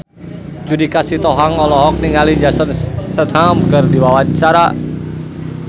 Judika Sitohang olohok ningali Jason Statham keur diwawancara